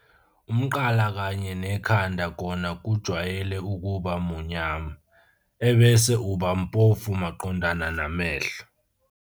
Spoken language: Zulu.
Umqala kanye nekhanda kona kujwayele ukuba munyama, ebese uba mpofu maqondana namehlo.